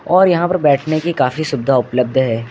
और यहां पर बैठने की काफी सुवधा उपलब्ध है।